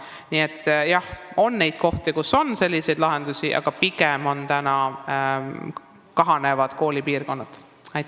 Nii et jah, on kohti, kus on selliseid lahendusi vaja, aga pigem on meil tegemist kahanevate koolipiirkondadega.